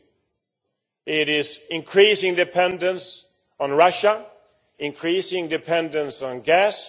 2. It is increasing dependence on Russia and increasing dependence on gas.